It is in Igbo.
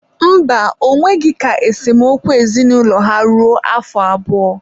mba, ọ nweghị ka esemokwu ezinaụlọ ha ruo afọ abụọ.